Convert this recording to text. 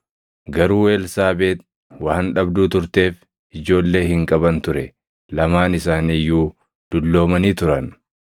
Garuu Elsaabeex waan dhabduu turteef ijoollee hin qaban ture; lamaan isaanii iyyuu dulloomanii turan.